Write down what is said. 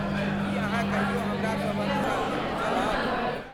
की अहाँ कहियो हमरा सभ क सङ्ग चलब?